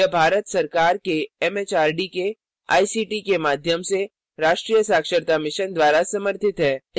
यह भारत सरकार एमएचआरडी के आईसीटी के माध्यम से राष्ट्रीय साक्षरता mission द्वारा समर्थित है